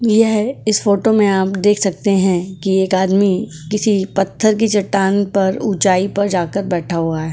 यह इस फोटो में आप देख सकते हैं कि एक आदमी किसी पत्थर की चट्टान पर ऊंचाई पर जाकर बैठा हुआ है।